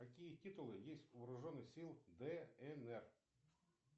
какие титулы есть у вооруженных сил днр